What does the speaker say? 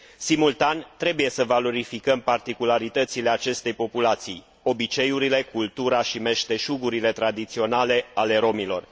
Simultan, trebuie să valorificăm particularitățile acestei populații, obiceiurile, cultura și meșteșugurile tradiționale ale rromilor.